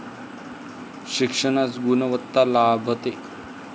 शिक्षणास गुणवत्ता लाभते.